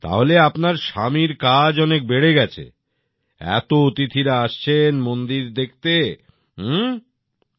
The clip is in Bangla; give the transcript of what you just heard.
তাহলে আপনার স্বামীর কাজ অনেক বেড়ে গেছে এত অতিথিরা আসছেন মন্দিরে দেখতে আসছেন